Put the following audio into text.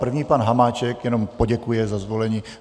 První pan Hamáček jenom poděkuje za zvolení.